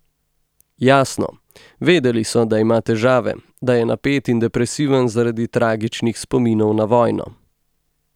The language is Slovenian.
Jasno, vedeli so, da ima težave, da je napet in depresiven zaradi tragičnih spominov na vojno.